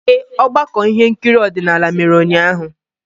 Ee, ọgbakọ ihe nkiri odinala mere ụnyaahụ.